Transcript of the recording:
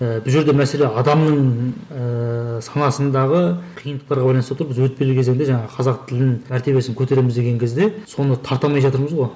ііі бұл жерде мәселе адамның ыыы санасындағы қиындықтарға байланысты болып тұр біз өтпелі кезеңде жаңағы қазақ тілін мәртебесін көтереміз деген кезде соны тарта алмай жатырмыз ғой